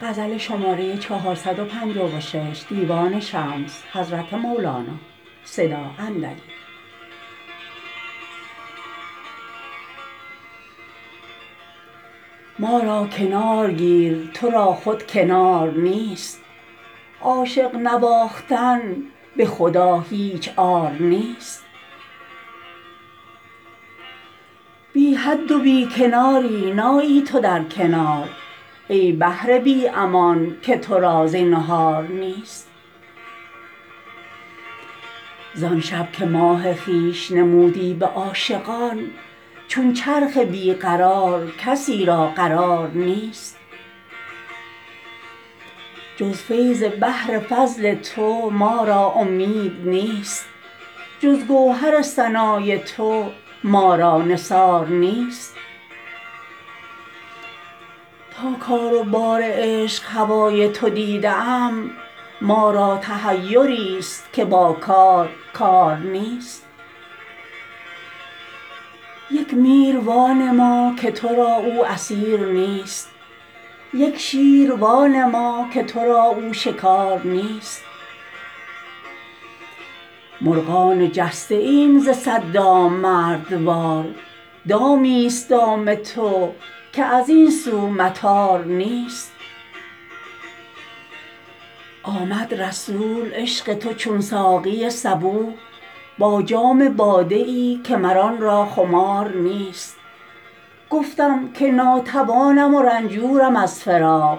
ما را کنار گیر تو را خود کنار نیست عاشق نواختن به خدا هیچ عار نیست بی حد و بی کناری نایی تو در کنار ای بحر بی امان که تو را زینهار نیست زان شب که ماه خویش نمودی به عاشقان چون چرخ بی قرار کسی را قرار نیست جز فیض بحر فضل تو ما را امید نیست جز گوهر ثنای تو ما را نثار نیست تا کار و بار عشق هوای تو دیده ام ما را تحیریست که با کار کار نیست یک میر وانما که تو را او اسیر نیست یک شیر وانما که تو را او شکار نیست مرغان جسته ایم ز صد دام مردوار دامیست دام تو که از این سو مطار نیست آمد رسول عشق تو چون ساقی صبوح با جام باده ای که مر آن را خمار نیست گفتم که ناتوانم و رنجورم از فراق